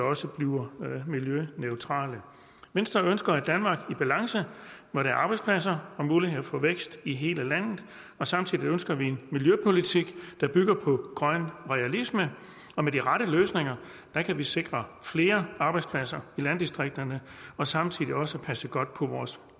også bliver miljøneutrale venstre ønsker et danmark i balance hvor der er arbejdspladser og mulighed for vækst i hele landet og samtidig ønsker vi en miljøpolitik der bygger på grøn realisme og med de rette løsninger kan vi sikre flere arbejdspladser i landdistrikterne og samtidig også passe godt på vores